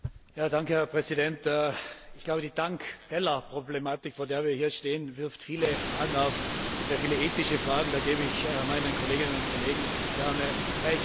Herr Präsident! Ich glaube, die Tank Teller Problematik, vor der wir hier stehen, wirft viele Fragen auf, sehr viele ethische Fragen, da gebe ich meinen Kolleginnen und Kollegen gerne Recht.